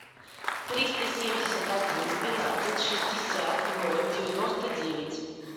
триста семьдесят один двенадцать шестьдесят ноль девяносто девять